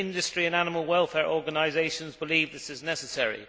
Both industry and animal welfare organisations believe this is necessary.